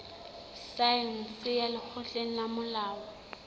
saense ya lekgotleng la molao